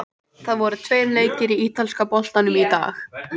Þeir eru ósköp fölir og alvarlegir og spyrja hvernig ég hafi það og allt það.